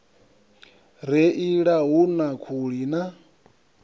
reila hu na khuli na